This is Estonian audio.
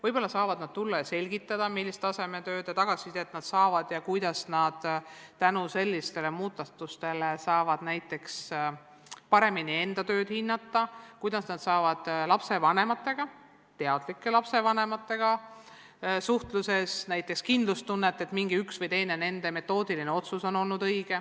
Võib-olla saavad nad tulla ja selgitada, millist tagasisidet nad saavad ja kuidas nad tänu sellistele muudatustele saavad paremini enda tööd hinnata, kuidas nad teadlike lapsevanematega suheldes saavad juurde kindlustunnet, et nende üks või teine metoodiline otsus on olnud õige.